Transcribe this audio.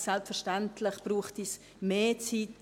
Selbstverständlich bräuchte es mehr Zeit.